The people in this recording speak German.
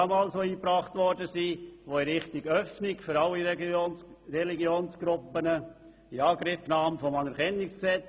Das Plenum hat Bestrebungen in Richtung einer Öffnung für alle Religionsgruppen damals klar abgelehnt und wollte auch kein Anerkennungsgesetz für andere Religionen in Angriff nehmen.